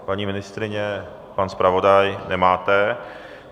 Paní ministryně, pan zpravodaj - nemáte.